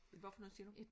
Hvad for noget siger du?